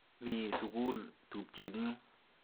Mi sukul tupchet nyu.